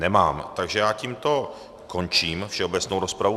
Nemám, takže já tímto končím všeobecnou rozpravu.